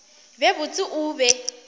be botse o be o